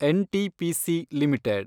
NTPC limited